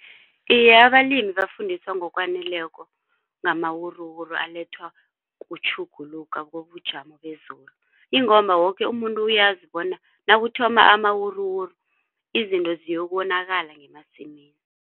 Iye abalimi bafundiswa ngokwaneleko ngamawuruwuru alethwa kutjhuguluka kobujamo bezulu ingomba woke umuntu uyazi bona nakuthoma amawuruwuru izinto ziyokonakala ngemasimini.